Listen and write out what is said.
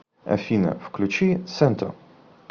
афина включи сенто